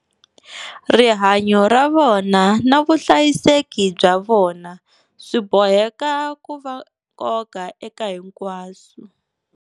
Rihanyo ra vona na vuhlayiseki bya vona swi boheka ku va nkoka eka hinkwaswo.